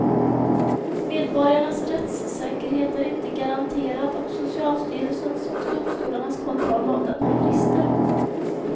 Medborgarnas rättssäkerhet är inte garanterad och socialstyrelsens och domstolarnas kontroll av den har brister.